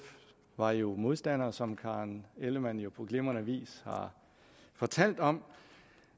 var jo modstandere som fru karen ellemann jo på glimrende vis har fortalt om